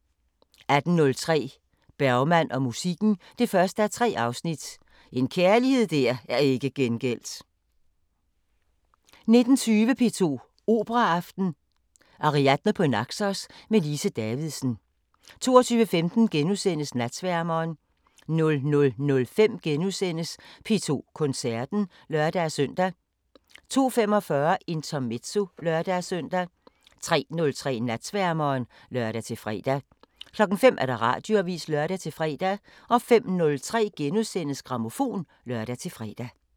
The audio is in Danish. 18:03: Bergman og musikken 1:3 – En kærlighed der ikke er gengældt 19:20: P2 Operaaften: Ariadne på Naxos med Lise Davidsen 22:15: Natsværmeren * 00:05: P2 Koncerten *(lør-søn) 02:45: Intermezzo (lør-søn) 03:03: Natsværmeren (lør-fre) 05:00: Radioavisen (lør-fre) 05:03: Grammofon *(lør-fre)